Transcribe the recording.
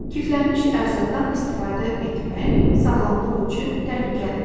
Kiflənnmiş ərzaqdan istifadə etmək sağlamlıq üçün təhlükəlidir.